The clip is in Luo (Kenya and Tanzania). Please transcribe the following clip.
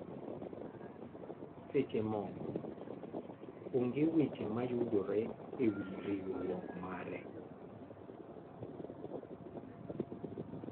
Seche moko, onge weche ma yudore e wi nworuok mare.